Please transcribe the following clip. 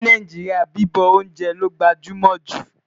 ní Nàìjíríà, bibọ oúnjẹ ló gbajúmò jù